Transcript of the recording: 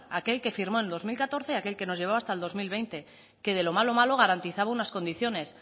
aquel que firmo en dos mil catorce aquel que nos llevaba hasta el dos mil veinte que de lo malo malo garantizaba unas condiciones